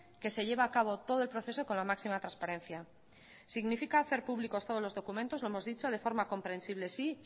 que se lleva acabo todo el proceso con la máxima transparencia significa hacer públicos todos los documentos lo hemos dicho de forma comprensible sí